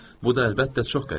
Bu da əlbəttə çox qəribədir.